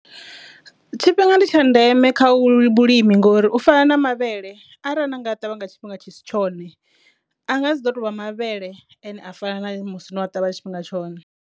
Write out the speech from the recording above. Tshifhinga ndi tsha ndeme kha vhulimi ngori u fana na mavhele arali na nga ṱavha nga tshifhinga tshi si tshone a nga si ḓo tovha mavhele ane a fana na musi no a ṱavhanya tshifhinga tshone.